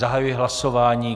Zahajuji hlasování.